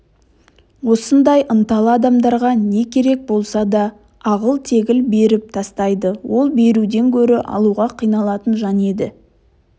осындай ынталы адамдарға не керек болса да ағыл-тегіл беріп тастайды ол беруден гөрі алуға қиналатын жан еді